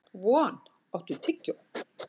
Von, áttu tyggjó?